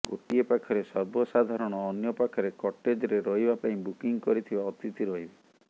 ଗୋଟିଏ ପାଖରେ ସର୍ବସାଧାରଣ ଅନ୍ୟ ପାଖରେ କଟେଜ୍ରେ ରହିବା ପାଇଁ ବୁକିଂ କରିଥିବା ଅତିଥି ରହିବେ